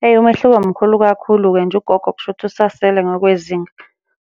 Hheyi, umehluko mkhulu kakhulu-ke nje ugogo kushuthi usasele ngokwezinga.